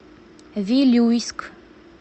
вилюйск